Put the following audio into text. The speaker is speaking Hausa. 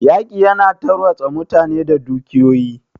Yaƙi ya na tarwatsa mutane da dukiyoyi.